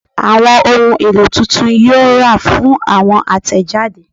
Awọn ohun elo titun yoo ra fun awọn atẹjade